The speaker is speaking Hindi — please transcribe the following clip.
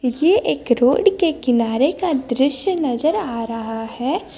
ये एक रोड़ के किनारे का दृश्य नजर आ रहा है।